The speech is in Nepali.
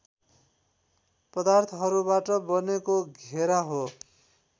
पदार्थहरूबाट बनेको घेरा हो